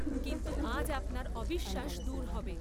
কিন্তু আজ আপনার অবিশ্বাস দূর হবে।